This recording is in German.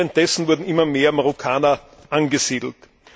Währenddessen wurden immer mehr Marokkaner angesiedelt.